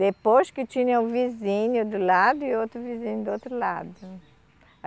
Depois que tinha o vizinho do lado e outro vizinho do outro lado.